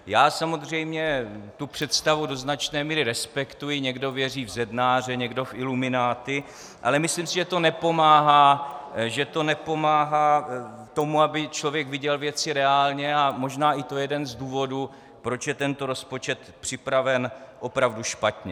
Já samozřejmě tu představu do značné míry respektuji, někdo věří v zednáře, někdo v ilumináty, ale myslím si, že to nepomáhá tomu, aby člověk viděl věci reálně, a možná i to je jeden z důvodů, proč je tento rozpočet připraven opravdu špatně.